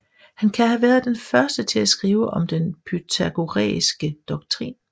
Han kan have været den første til at skrive om den pythagoræske doktrin